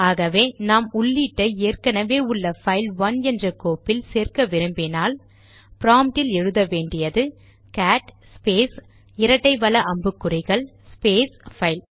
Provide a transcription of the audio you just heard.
ஆகவே நாம் உள்ளீட்டை ஏற்கெனெவே உள்ள பைல் ஒன் என்ற கோப்பில் சேர்க்க விரும்பினால் ப்ராம்ட்டில் எழுத வேண்டியது கேட் ஸ்பேஸ் இரட்டை வல அம்புக்குறிகள் ஸ்பேஸ் பைல்